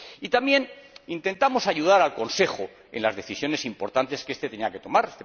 También intentamos ayudar al Consejo en las decisiones importantes que éste tenía que tomar.